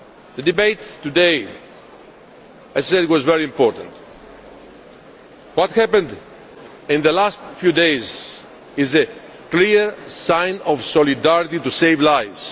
Card'. The debate today, as I said, was very important, and what happened in the last few days is a clear sign of solidarity to save